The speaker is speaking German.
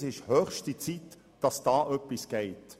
Es ist höchste Zeit, dass etwas geschieht.